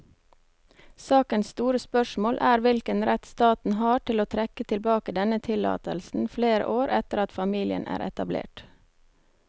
Sakens store spørsmål er hvilken rett staten har til å trekke tilbake denne tillatelsen flere år etter at familien er etablert.